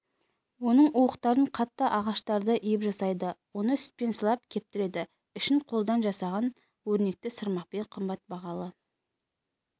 оның уықтарын қатты ағаштарды иіп жасайды оны сүтпен сылап кептіреді ішін қолдан жасаған өрнекті сырмақпен қымбат бағалы